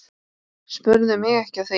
Spurðu mig ekki að því.